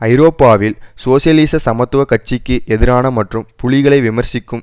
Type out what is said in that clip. ஐரோப்பாவில் சோசியலிச சமத்துவ கட்சிக்கு எதிரான மற்றும் புலிகளை விமர்சிக்கும்